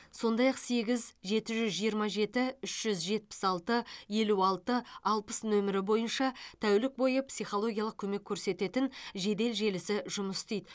сондай ақ сегіз жеті жүз жиырма жеті үш жүз жетпіс алты елу алты алпыс нөмірі бойынша тәулік бойы психологиялық көмек көрсететін жедел желісі жұмыс істейді